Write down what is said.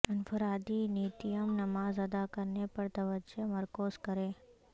انفرادی نیتیم نماز ادا کرنے پر توجہ مرکوز کریں